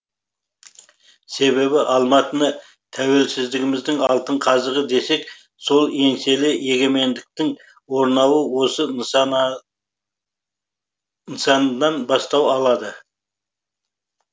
себебі алматыны тәуелсіздігіміздің алтын қазығы десек сол еңселі егемендіктің орнауы осы нысаннан бастау алды